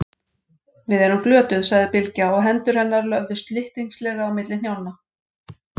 Við erum glötuð, sagði Bylgja og hendur hennar löfðu slyttingslega á milli hnjánna.